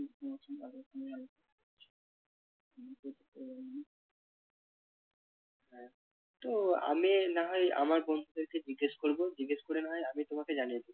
তো আমি না হয় আমার বন্ধুদের কে জিজ্ঞেস করবো জিজ্ঞেস করে না হয় আমি তোমাকে জানিয়ে দেবো।